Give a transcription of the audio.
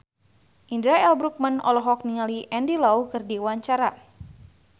Indra L. Bruggman olohok ningali Andy Lau keur diwawancara